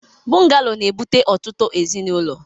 Bụngalo na-ebute ọtụtụ ezinụlọ.